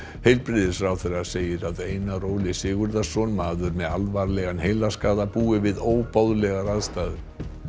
heilbrigðisráðherra segir að Einar Óli Sigurðarson maður með alvarlegan heilaskaða búi við óboðlegar aðstæður